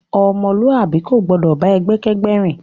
Ọmọluabi ko gbọdọ bá ẹgbẹ kẹgbẹ rìn.